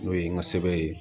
N'o ye n ka sɛbɛn ye